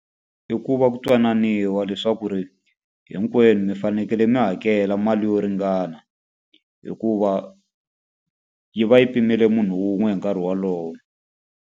I ku va ku twananiwa leswaku ri hinkwenu mi fanekele mi hakela mali yo ringana. Hikuva yi va yi pimele munhu wun'we hi nkarhi wolowo.